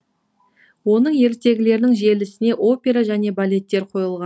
оның ертегілерінің желісіне опера және балеттер қойылған